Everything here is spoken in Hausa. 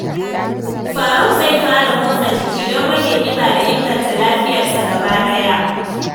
Faruk zai fara motsa jiki don rage kiba da inganta lafiyarsa gaba ɗaya.